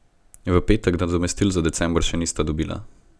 V petek nadomestil za december še nista dobila.